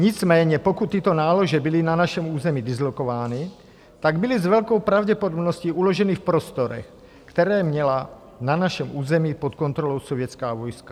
Nicméně pokud tyto nálože byly na našem území dislokovány, tak byly s velkou pravděpodobností uloženy v prostorech, které měla na našem území pod kontrolou sovětská vojska.